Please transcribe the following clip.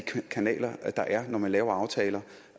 kanaler der er når man laver aftaler